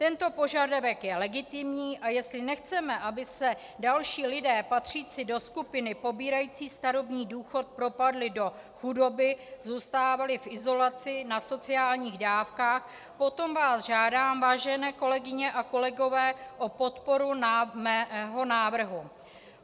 Tento požadavek je legitimní, a jestli nechceme, aby se další lidé patřící do skupiny pobírající starobní důchod propadli do chudoby, zůstávali v izolaci na sociálních dávkách, potom vás žádám, vážené kolegyně a kolegové, o podporu svého návrhu.